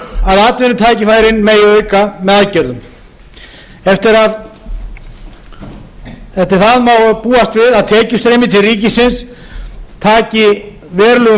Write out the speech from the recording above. okkur að atvinnutækifærin megi auka með aðgerðum eftir það má búast við að tekju streymi til ríkisins taki verulegum